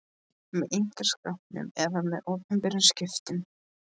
með einkaskiptum eða með opinberum skiptum.